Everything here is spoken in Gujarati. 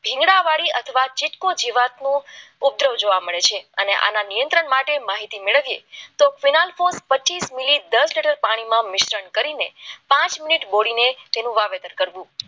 શીંગડા વાળી અથવા ચીટકો જીવાતનું ઉપદ્રવ જોવા મળે છે અને આના નિયંત્રણ માટે માહિતી મેળવીએ તો પ્રતિ પચીસ મેલી પાણીમાં કરીને પાંચ મિનિટ બોલીને તેનું વાવેતર કરવું